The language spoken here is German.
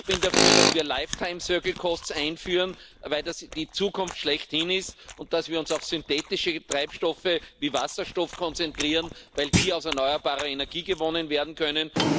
Ich bin dafür, dass wir Lebenszykluskosten einführen, weil das die Zukunft schlechthin ist, und dass wir uns auf synthetische Treibstoffe wie Wasserstoff konzentrieren, weil die aus erneuerbarer Energie gewonnen werden können.